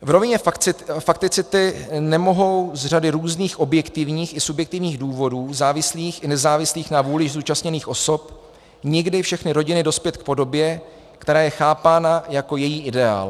V rovině fakticity nemohou z řady různých objektivních i subjektivních důvodů, závislých i nezávislých na vůli zúčastněných osob, nikdy všechny rodiny dospět k podobě, která je chápána jako její ideál.